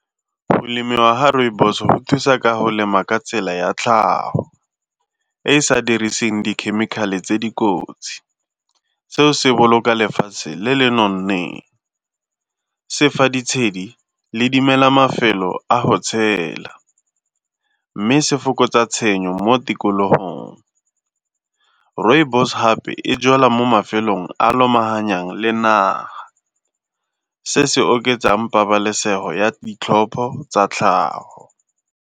Go lemiwa ga rooibos go thusa ka go lema ka tsela ya tlhago, e e sa diriseng dikhemikhale tse dikotsi. Seo se boloka lefatshe le le nonneng, se fa ditshedi le dimela mafelo a go tshela mme se fokotsa tshenyo mo tikologong. Rooibos hape e jalwa mo mafelong a lomahanyang le naga, se se oketsang pabalesego ya ditlhopho tsa tlhago.